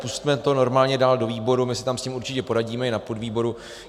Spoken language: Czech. Pusťme to normálně dál do výboru, my si tam s tím určitě poradíme, i na podvýboru.